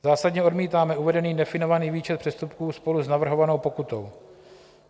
Zásadně odmítáme uvedený definovaný výčet přestupků spolu s navrhovanou pokutou.